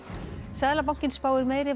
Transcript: seðlabankinn spáir meiri